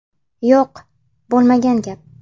Yo‘q, bo‘lmagan gap.